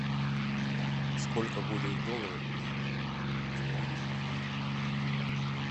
сколько будет в долларах четыре евро